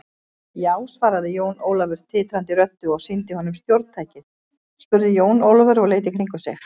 Já, svaraði Jón Ólafur titrandi röddu og sýndi honum stjórntækið spurði Jón Ólafur og leit í kringum sig.